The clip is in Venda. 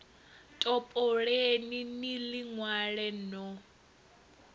topoleni ni ḽi ṅwale no